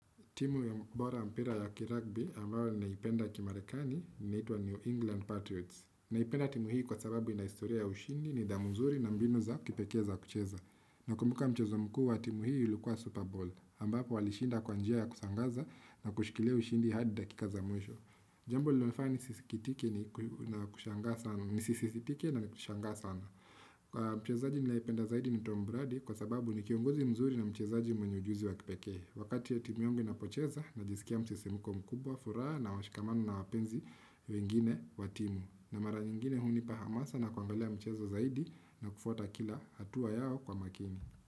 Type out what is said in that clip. Timu bora ya mpira ya kiragbi ambayo ninaipenda kimarekani inaitwa New England Patriots. Naipenda timu hii kwa sababu ina historia ya ushindi nidhamu nzuri na mbinu za kipekee za kucheza. Nakumbuka mchezo mkuu wa timu hii ilikuwa Super Bowl ambapo walishinda kwa njia ya kusangaza na kushikilia ushindi hadi dakika za mwisho. Jambo lililonifanya nisisitike na ni kushangaa sana. Mchezaji ninayependa zaidi ni Tom Brady kwa sababu ni kiongozi mzuri na mchezaji mwenye ujuzi wa kipekee. Wakati ya timu yangu inapocheza najisikia msisimiko mkubwa furaha na washikamana na wapenzi wengine wa timu. Na mara nyingine hunipa hamasa na kuangalia mchezo zaidi na kufwata kila hatua yao kwa makini.